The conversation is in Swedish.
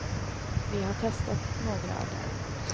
Vi har testat några av dem.